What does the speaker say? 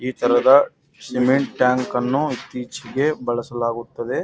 ಇತರದ cement tank ಅನ್ನು ಇತ್ತೀಚಿಗೆ ಬಳಸಲಾಗುತ್ತದೆ .